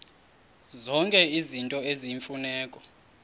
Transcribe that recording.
zonke izinto eziyimfuneko